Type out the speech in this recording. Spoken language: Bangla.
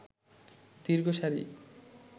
দীর্ঘ সারি